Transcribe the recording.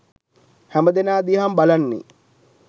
හැමදෙනා දිහාම බලන්නේ